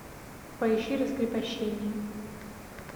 поищи раскрепощение